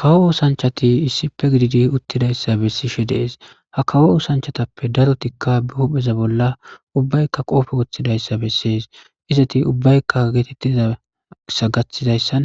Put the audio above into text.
kawo osanchati issipe gididi uttidayssa bessishe dees ha kawo osanchatappe darotikka be hupheza bolla ubbaykka qoofe woththidayssa bessees izati ubbaykka geetettizasa gaththidayssan